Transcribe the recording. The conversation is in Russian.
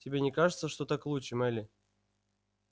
тебе не кажется что так лучше мелли